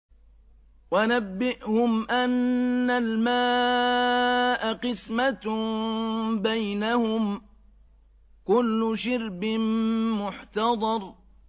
وَنَبِّئْهُمْ أَنَّ الْمَاءَ قِسْمَةٌ بَيْنَهُمْ ۖ كُلُّ شِرْبٍ مُّحْتَضَرٌ